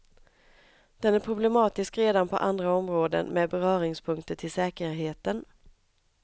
Den är problematisk redan på andra områden med beröringspunkter till säkerheten.